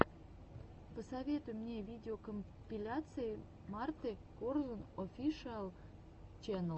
посоветуй мне видеокомпиляции марты корзун офишиал ченнал